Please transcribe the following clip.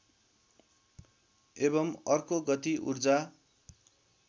एवं अर्को गति ऊर्जा